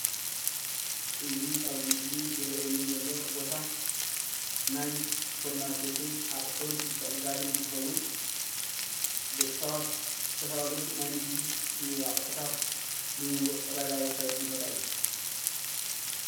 እዚ ኣብዚ ምስሊ ዝረእየኒ ዘሎ ቦታ ናይ ስፓርማርኬት ኣቑሑን ምትዕድዳግን እንትኸዉን ደቂ ሰባት ዝተፋላለዩ ናይ ንግዲ ኣቑሑታት ልዉዉጥ ዕዳጋ ዝካየደሉ ቦታ እዩ፡፡